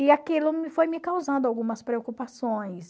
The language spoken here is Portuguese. E aquilo foi me causando algumas preocupações.